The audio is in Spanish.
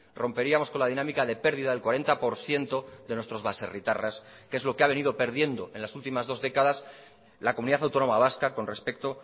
romperíamos con la dinámica de perdida del cuarenta por ciento de nuestros baserritarras que es lo que ha venido perdiendo en las últimas dos décadas la comunidad autónoma vasca con respecto